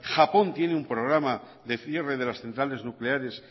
japón tiene un programa de cierre de las centrales nucleares